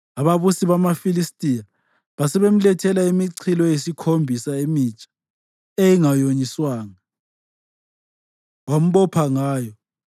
Ababusi bamaFilistiya basebemlethela imichilo eyisikhombisa emitsha eyayingonyiswanga, wambopha ngayo.